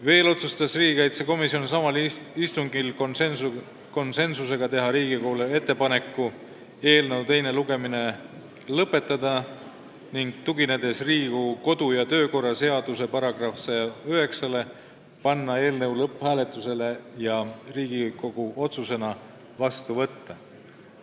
Veel otsustas riigikaitsekomisjon samal istungil konsensusega teha Riigikogule ettepaneku eelnõu teine lugemine lõpetada ning tuginedes Riigikogu kodu- ja töökorra seaduse § 109-le panna eelnõu lõpphääletusele ja Riigikogu otsusena vastu võtta.